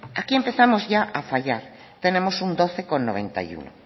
aquí empezamos ya a fallar tenemos un doce coma noventa y uno